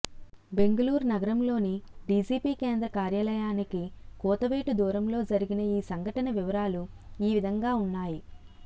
బెంగళూరు నగరంలోని డీజీపీ కేంద్ర కార్యాలయానికి కూతవేటు దూరంలో జరిగిన ఈ సంఘటన వివరాలు ఈ విధంగా ఉన్నాయి